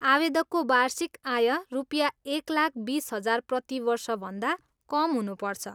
आवेदकको वार्षिक आय रुपियाँ एक लाख बिस हजार प्रतिवर्षभन्दा कम हुनुपर्छ।